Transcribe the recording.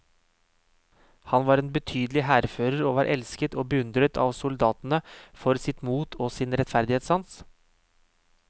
Han var en betydelig hærfører, og var elsket og beundret av soldatene for sitt mot og sin rettferdighetssans.